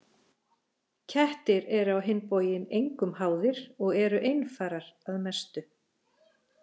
Kettir eru á hinn bóginn engum háðir og eru einfarar að mestu.